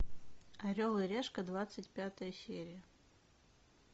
орел и решка двадцать пятая серия